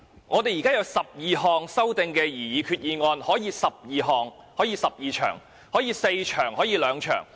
我們現時有12項擬議決議案，故此可以進行12場辯論，但亦可以只進行4場或兩場辯論。